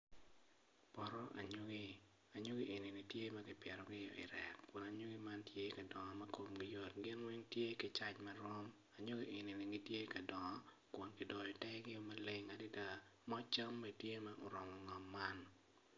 Poto anyogi anyogi eni tye ma kipitogi i rek kun anyogi man tye ka dongo ma komgi yot gin weng tye ki caij marom anyogi enini gitye ka dongo kun kidoyo tegio maleng adada moc cam bene tye ma oromo ngom man.